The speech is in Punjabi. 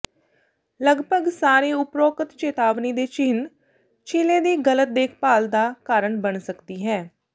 ਲਗਭਗ ਸਾਰੇ ਉਪਰੋਕਤ ਚੇਤਾਵਨੀ ਦੇ ਚਿੰਨ੍ਹ ਛਿਲੇ ਦੀ ਗ਼ਲਤ ਦੇਖਭਾਲ ਦਾ ਕਾਰਨ ਬਣ ਸਕਦੀ ਹੈ